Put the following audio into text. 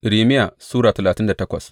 Irmiya Sura talatin da takwas